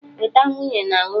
Weta nwunye na nwunye!